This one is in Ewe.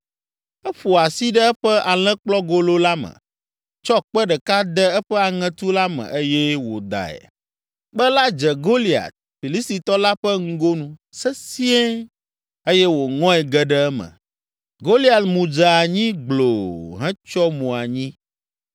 Eƒo asi ɖe eƒe alẽkplɔgolo la me, tsɔ kpe ɖeka de eƒe aŋetu la me eye wòdae. Kpe la dze Goliat, Filistitɔ la ƒe ŋgonu sesĩe eye wòŋɔe ge ɖe eme. Goliat mu dze anyi gbloo hetsyɔ mo anyi.